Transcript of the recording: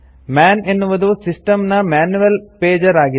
ಮನ್ ಎನ್ನುವುದು ಸಿಸ್ಟಂ ನ manual pager ಆಗಿದೆ